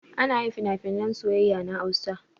Anyin finafinan soyayya na hausa